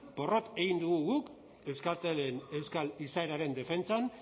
porrot egin dugu guk euskaltelen euskal izaeraren defentsan